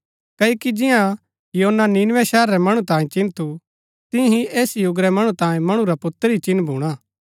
क्ओकि जिआं योना नीनवे शहरा रै मणु तांई चिन्ह थू तियां ही ऐस युग रै मणु तांई मणु रा पुत्र ही चिन्ह भूणा